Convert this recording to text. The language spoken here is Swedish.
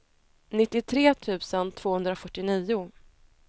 nittiotre tusen tvåhundrafyrtionio